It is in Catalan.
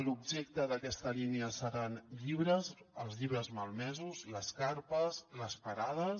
l’objecte d’aquesta línia seran llibres els llibres malmesos les carpes les parades